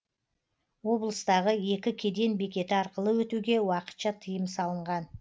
облыстағы екі кеден бекеті арқылы өтуге уақытша тыйым салынған